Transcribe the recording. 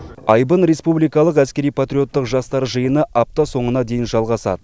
айбын республикалық әскери патриоттық жастар жиыны апта соңына дейін жалғасады